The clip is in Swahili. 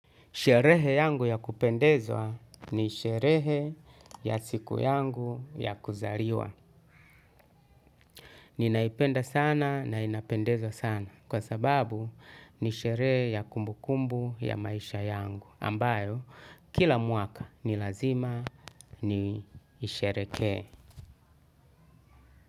Sherehe yangu ya kupendezwa ni sherehe ya siku yangu ya kuzaliwa. Ninaipenda sana na inapendeza sana kwa sababu ni sherehe ya kumbu kumbu ya maisha yangu. Ambayo kila mwaka ni lazima ni shehereke.